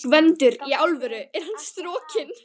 GVENDUR: Í alvöru: Er hann strokinn?